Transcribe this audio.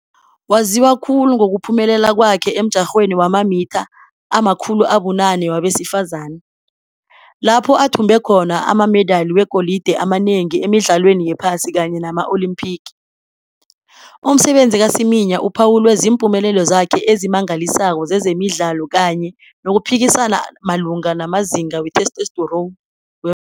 Waziwa khulu ngokuphumelela kwakhe emjarhweni wamamitha ama-800 wabesifazana, lapho athumbe khona amamedali wegolide amanengi emidlalweni yePhasi kanye nama-Olimpiki. Umsebenzi ka-Semenya uphawulwe ziimpumelelo zakhe ezimangalisako zezemidlalo kanye nokuphikisana malungana namazinga we-testosterone wemvelo.